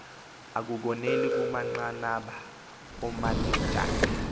akukoneli kumanqanaba oomanejala